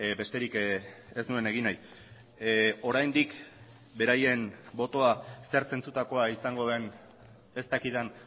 besterik ez nuen egin nahi oraindik beraien botoa zer zentzutakoa izango den ez dakidan